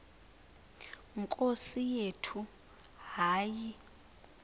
nkosi yethu hayi